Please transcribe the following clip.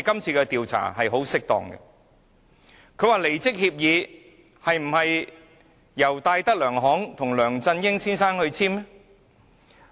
張達明問：離職協議是否由戴德梁行與梁振英先生簽訂？